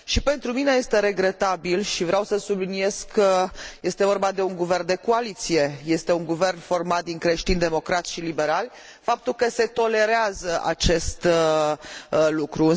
Și pentru mine este regretabil și vreau să subliniez că este vorba de un guvern de coaliție, este un guvern format din creștin democrați și liberali faptul că se tolerează acest lucru.